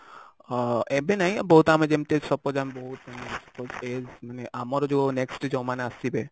ଆଁ ଏବେ ନାଇଁ ବହୁତ ଆମେ ଯେମିତି suppose ଆମେ ବହୁତ ମାନେ ଆମର ଯୋଉ next ଯୋଉ ମାନେ ଆସିବେ